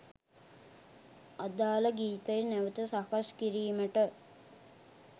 අදාල ගීතය නැවත සකස් කිරීමට